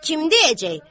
Kim deyəcək?